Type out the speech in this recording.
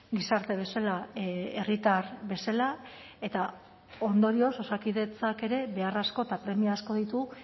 gizarte bezala herritar bezala eta ondorioz osakidetzak ere behar asko eta premia asko ditu